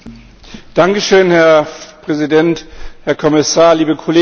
Herr Präsident, Herr Kommissar, liebe Kolleginnen und Kollegen!